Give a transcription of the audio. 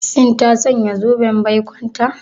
Shin ta sanya zoben baikonta?